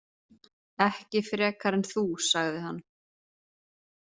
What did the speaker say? Ekki frekar en þú, sagði hann.